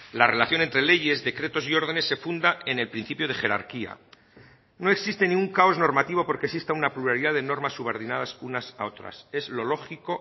la relación entre leyes decretos y órdenes se funda en el principio de jerarquía no existe ningún caos normativo porque exista una pluralidad de normas subordinadas unas a otras es lo lógico